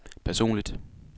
personligt